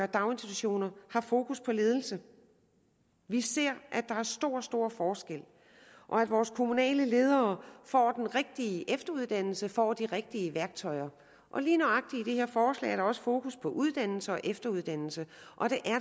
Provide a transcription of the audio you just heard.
daginstitutioner at har fokus på ledelse vi ser at der er store store forskelle og at vores kommunale ledere får den rigtige efteruddannelse får de rigtige værktøjer lige nøjagtig i det her forslag er der også fokus på uddannelse og efteruddannelse og det